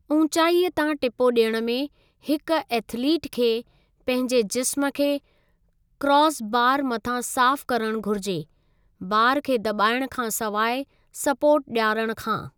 ऊंचाई तां टिपो ॾियणु में, हिक एथलीट खे पंहिंजे जिस्मु खे क्रास बारु मथां साफ़ु करणु घुरिजे, बारु खे दॿाइणु खां सवाइ सपोर्ट ॾियारण खां।